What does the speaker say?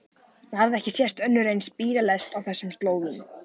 Það hafði ekki sést önnur eins bílalest á þessum slóðum.